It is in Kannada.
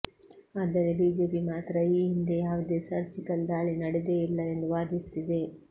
ಆದರೆ ಬಿಜೆಪಿ ಮಾತ್ರ ಈ ಹಿಂದೆ ಯಾವುದೇ ಸರ್ಜಿಕಲ್ ದಾಳಿ ನಡೆದೇ ಇಲ್ಲ ಎಂದು ವಾದಿಸುತ್ತಿದೆ